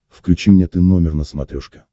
включи мне ты номер на смотрешке